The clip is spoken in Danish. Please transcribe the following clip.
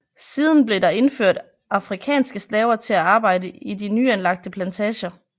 Siden blev der indført afrikanske slaver til at arbejde i de nyanlagte plantager